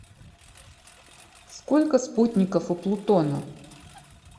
сколько спутников у плутона